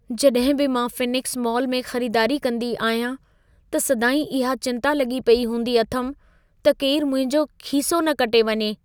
जॾहिं बि मां फ़ीनिक्स मॉल में ख़रीदारी कंदी आहियां त सदाईं इहा चिंता लॻी पेई हूंदी अथमि, त केरु मुंहिंजो खीसो न कटे वञे।